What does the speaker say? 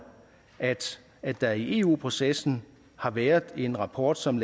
at der i eu processen har været en rapport som